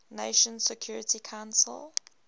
nations security council